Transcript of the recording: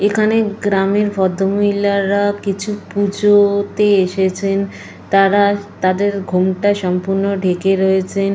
এইখানে গ্রামের ভদ্রমহিলারা কিছু পুজোতে এসেছেন। তারা তাদের ঘোমটা সম্পূর্ণ ঢেকে রয়েছেন।